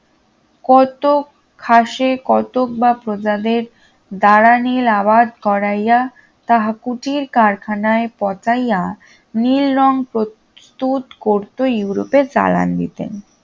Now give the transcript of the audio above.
কতক খাসে কতক বা প্রজাদের দ্বারা নীল আবাদ করাইয়া তাহা কুটীর কারখানায় পচাইয়া নীল রঙ প্রস্তুত করত ইউরোপের জারাঙ্গি তে